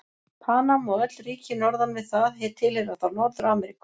Panama og öll ríki norðan við það tilheyra þá Norður-Ameríku.